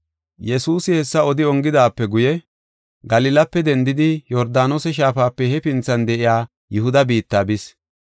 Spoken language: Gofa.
Yesuusi hessa odi ongidaape guye, Galilape dendidi Yordaanose Shaafape hefinthan de7iya Yihuda biitta bis.